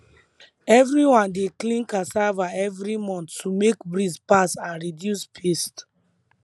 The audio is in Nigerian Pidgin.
everyone dey clean cassava every month to make breeze pass and reduce pest